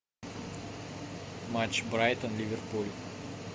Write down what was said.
матч брайтон ливерпуль